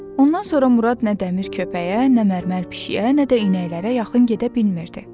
Ondan sonra Murad nə dəmir köpəyə, nə mərmər pişiyə, nə də inəklərə yaxın gedə bilmirdi.